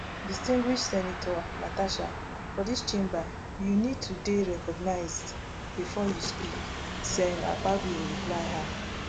distinguished senator natasha for dis chamber you need to dey recognised bifor you speak sen akpabio reply her